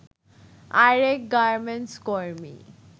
আরেক গার্মেন্টস কর্মী